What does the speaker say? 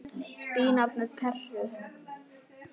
Spínat með perum